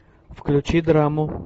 включи драму